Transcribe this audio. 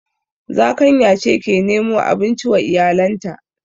Zakanya ce ke nemo abinci wa iyalanta